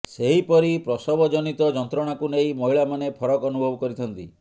ସେହିପରି ପ୍ରସବଜନିତ ଯନ୍ତ୍ରଣାକୁ ନେଇ ମହିଳାମାନେ ଫରକ ଅନୁଭବ କରିଥାନ୍ତି